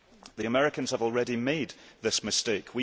The Americans have already made this mistake.